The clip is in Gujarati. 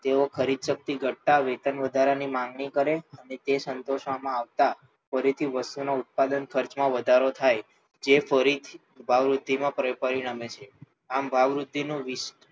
તેઓ ખરીદશક્તિ ઘટતાં વેતનવધારાની માંગણી કરે અને તે સંતોષવામાં આવતાં ફરીથી વસ્તુના ઉત્પાદન ખર્ચમાં વધારો થાય જે ફરી ભાવવૃદ્ધિમાં પરિણમે છે આમ ભાવવૃદ્ધિનું